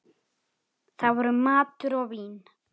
Það voru matur og vín.